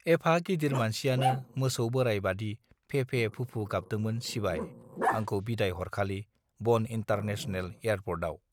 एफा गिदिर मानसियानो मोसौ बोराय बादि फेफे फुफु गाबदोंमोन सिबाय आंखौ बिदाय हरखालि बन इन्टार नेसनेल एयारपर्टआव